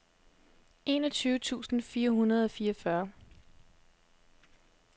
enogtyve tusind fire hundrede og fireogfyrre